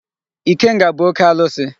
Ikenga bụ oke alụsị.